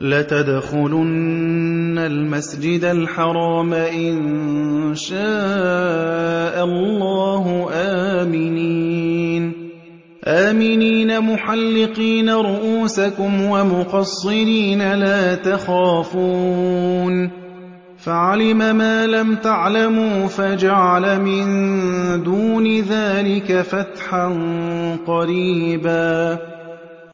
لَتَدْخُلُنَّ الْمَسْجِدَ الْحَرَامَ إِن شَاءَ اللَّهُ آمِنِينَ مُحَلِّقِينَ رُءُوسَكُمْ وَمُقَصِّرِينَ لَا تَخَافُونَ ۖ فَعَلِمَ مَا لَمْ تَعْلَمُوا فَجَعَلَ مِن دُونِ ذَٰلِكَ فَتْحًا قَرِيبًا